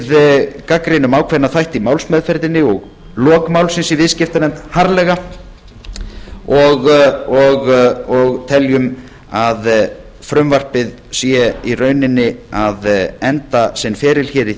við gagnrýnum ákveðna þætti í málsmeðferðinni og lok málsins í viðskiptanefnd harðlega og teljum að frumvarpið sé í rauninni að enda sinn feril hér í